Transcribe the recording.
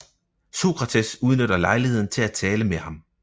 Sokrates udnytter lejligheden til at tale med ham